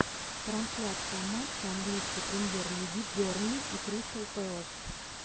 трансляция матча английской премьер лиги бернли и кристал пэлас